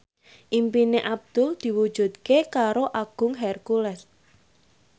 impine Abdul diwujudke karo Agung Hercules